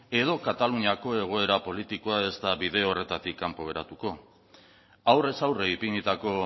edo kataluniako egoera politikoa ez da bide horretatik kanpo geratuko aurrez aurre ipinitako